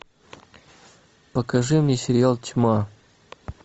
покажи мне сериал тьма